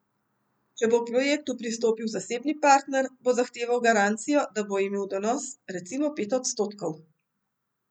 Če bo k projektu pristopil zasebni partner, bo zahteval garancijo, da bo imel donos, recimo pet odstotkov.